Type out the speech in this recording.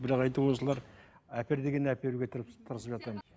бірақ осылар әпер дегенін әперуге